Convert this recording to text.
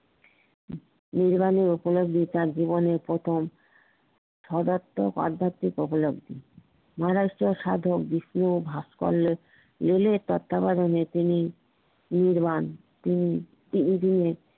তার জিবনের প্রথম সারবাধিক আধ্যাত্মিক উপলব্ধি মহারাষ্ট্র সাধক বিষ্ণু ও ভাশকরিও মিলে তিনি